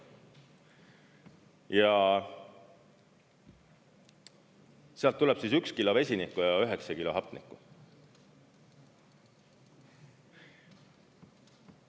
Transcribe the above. Ja sealt tulebki 1 kilo vesinikku ja 9 kilo hapnikku.